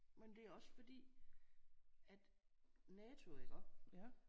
Men det er også fordi at NATO iggå